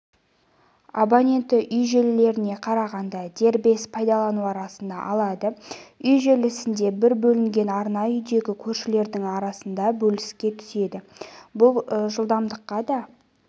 абоненті үй желілеріне қарағанда дербес пайдалану арнасын алады үй желісінде бір бөлінген арна үйдегі көршілердің арасында бөліске түседі бұл жылдамдыққа да